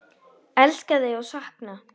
Elska þig og sakna!